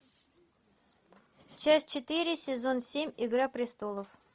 часть четыре сезон семь игра престолов